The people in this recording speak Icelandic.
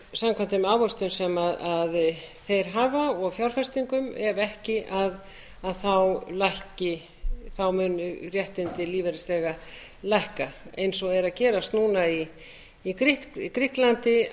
samkvæmt þeirri ávöxtun sem þeir hafa og fjárfestingum ef ekki munu réttindi lífeyrisþega lækka eins og er að gerast núna í grikklandi